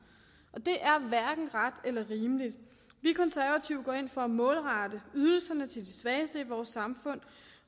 og det er hverken ret eller rimeligt vi konservative går ind for at målrette ydelserne til de svageste i vores samfund